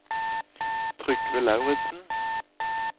Trygve Lauritzen